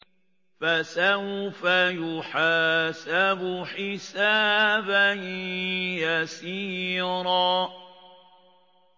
فَسَوْفَ يُحَاسَبُ حِسَابًا يَسِيرًا